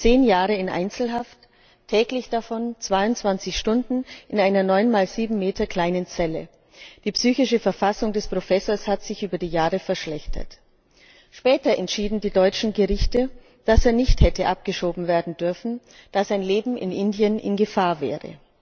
Zehn Jahre in Einzelhaft, täglich davon 22 Stunden in einer 9 mal 7 Meter kleinen Zelle. Die psychische Verfassung des Professors hat sich über die Jahre verschlechtert. Später entschieden die deutschen Gerichte, dass er nicht hätte abgeschoben werden dürfen, dass sein Leben in Indien in Gefahr wäre.